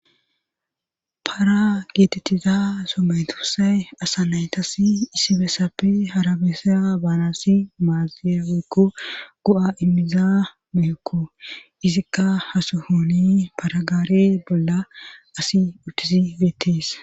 para geetettiza somedosay asa naytas isibessappe harabesa baanassi maaziya oykko go7a immiza mehekko izikka hasuhooni paragaare bolla asi uttisi geettees